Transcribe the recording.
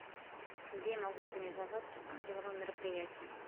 где я могу организовать деловое мероприятие